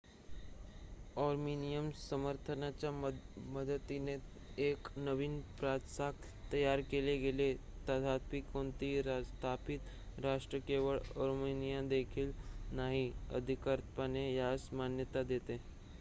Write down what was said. Armenian समर्थनाच्या मदतीने एक नवीन प्रजासत्ताक तयार केले गेले तथापि कोणतेही स्थापित राष्ट्र केवळ आर्मेनिया देखील नाही अधिकृतपणे यास मान्यता देते